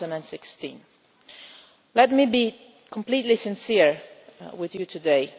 2016. Let me be completely sincere with you today